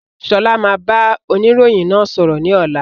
Sọlá máa bá oniroyin náà sọ̀rọ̀ ni ọ̀la.